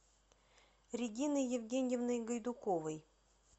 региной евгеньевной гайдуковой